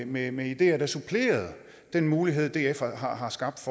med med ideer der supplerede den mulighed df har har skabt